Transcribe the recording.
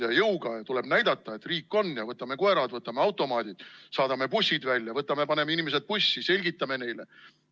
Ja jõuga tuleb näidata, et riik on: võtame koerad, võtame automaadid, saadame bussid välja, võtame inimesed ja paneme bussi, selgitame neile.